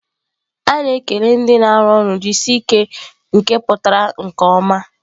A na-ekele ndị na-arụ ọrụ"jisike nke pụtara nke ọma."